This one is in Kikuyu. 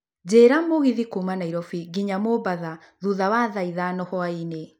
njĩra mũgithi kuuma nairobi nginya mombatha thũtha wa thaa ithano hwaĩinĩ